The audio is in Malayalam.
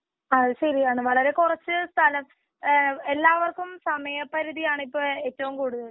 അത് ശരിയാണ് വളരെ കുറച്ചു സ്ഥലം വേ എല്ലാവർക്കും സമയപരിതിയാണ് ഏറ്റവും കൂടുതൽ.